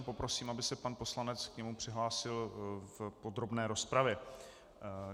A poprosím, aby se pan poslanec k němu přihlásil v podrobné rozpravě.